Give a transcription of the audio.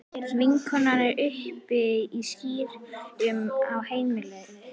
Vinkonan er uppi í skýjunum á heimleiðinni.